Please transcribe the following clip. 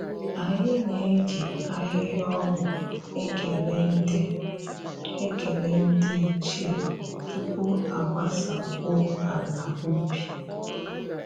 Anyị na-eji ahịhịa ọgwụ ekele ndị ekele ndị ichie tupu a gbasakwuo ala ubi